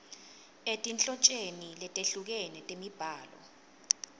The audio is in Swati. etinhlotjeni letehlukene temibhalo